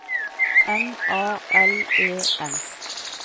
M A L E N